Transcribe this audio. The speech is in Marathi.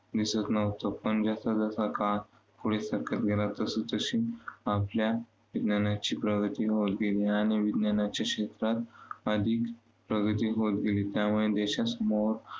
दिसत नव्हतं. पण जसा जसा काळ पुढे सरकत गेला तसतशी आपल्या विज्ञानाची प्रगती विज्ञान आणि विज्ञानाच्या क्षेत्रात अधिक प्रगती होत गेली. त्यामुळे देशासमोर